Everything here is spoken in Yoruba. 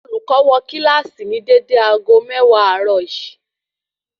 Olùkọ́ wo kílàsì ni dédé aago méwàá àárò yìí